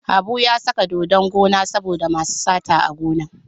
Habu ya saka dodon gona saboda masu sata a gona.